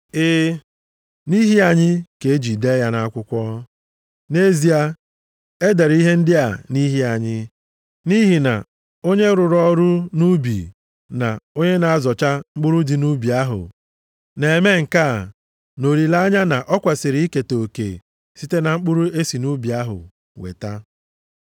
E, nʼihi anyị ka eji dee ya nʼakwụkwọ. Nʼezie, e dere ihe ndị a nʼihi anyị, nʼihi na onye rụrụ ọrụ nʼubi na onye na-azọcha mkpụrụ dị nʼubi ahụ, na-eme nke a nʼolileanya na o kwesiri iketa oke site na mkpụrụ e si nʼubi ahụ weta.